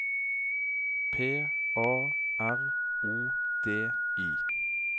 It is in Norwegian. P A R O D I